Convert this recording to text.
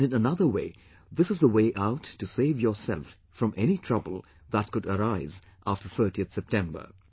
And in another way, this is the way out to save yourself from any trouble that could arise after 30th September